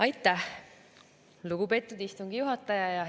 Aitäh, lugupeetud istungi juhataja!